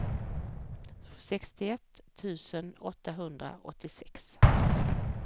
sextioett tusen åttahundraåttiosex